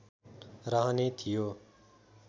रहने थियो